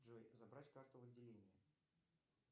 джой забрать карту в отделении